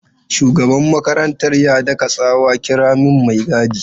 Shugaban makarantar ya daka tsawa 'kira min mai gadi!'